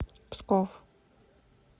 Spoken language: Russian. псков